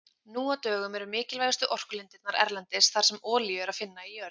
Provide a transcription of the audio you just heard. Nú á dögum eru mikilvægustu orkulindirnar erlendis þar sem olíu er að finna í jörð.